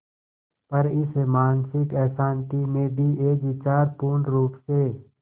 पर इस मानसिक अशांति में भी एक विचार पूर्णरुप से